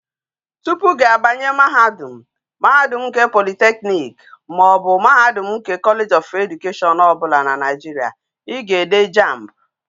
Topu gi abanye mahadum, mahadum nke polytechnics maobu mahadum nke college obula na naijiria,I ga ede jamb